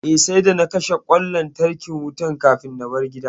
Eh, sai da na kashe ƙwan wutan lantarkin kafin na bar gida